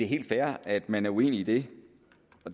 helt fair at man er uenig i det